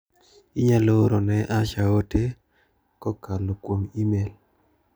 Inyalo oro ne Asha ote kokalo kuom imel?